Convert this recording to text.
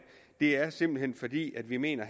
det er simpelt hen fordi vi mener